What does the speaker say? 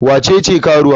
Wa ce ce karuwa?